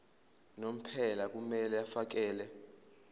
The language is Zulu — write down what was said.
unomphela kumele afakele